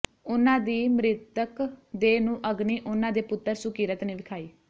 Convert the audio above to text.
ਉਨ੍ਹਾਂ ਦੀ ਮਿ੍ਰਤਕ ਦੇਹ ਨੂੰ ਅਗਨੀ ਉਨ੍ਹਾਂ ਦੇ ਪੁੱਤਰ ਸੁਕੀਰਤ ਨੇ ਵਿਖਾਈ